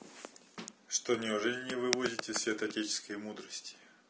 что неужели не вывозите святоотеческие мудрости